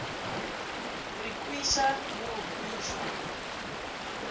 re kweša le go kwešwa